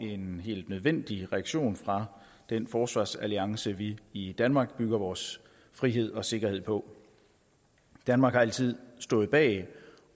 en helt nødvendig reaktion fra den forsvarsalliance vi i danmark bygger vores frihed og sikkerhed på danmark har altid stået bag